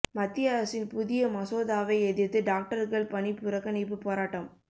மத்திய அரசின் புதிய மசோதாவை எதிர்த்து டாக்டர்கள் பணி புறக்கணிப்பு போராட்டம்